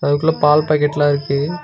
அதுக்குள்ள பால் பாக்கெட் எல்லாம் இருக்கு.